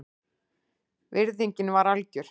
Virðingin var algjör